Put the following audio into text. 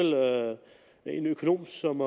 en økonom som